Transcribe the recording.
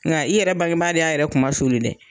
Nka i yɛrɛ bangebaa de y'a yɛrɛ kuma suuli dɛ